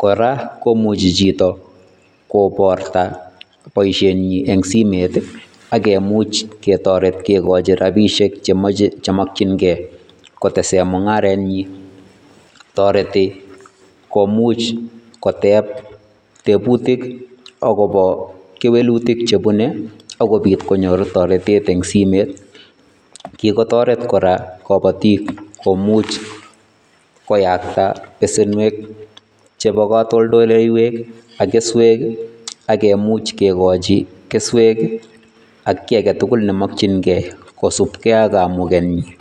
kora komuchi chito kobarta chito boishenyin en simoit amk kemuch ketoret kekochi rabishek chemoche chemokying'ee kotesen mung'arenyin, toreti komuch koteb tebutik akobo kewelutik chebune akobit konyor toretet en simoit, kikotoret kora kobotik komuch koyakta besenwek chebo kotoldoleiwek ak keswek ak kemuch kekochi keswek ak kii aketukul nemokying'e kousubkee ak kamukenyin.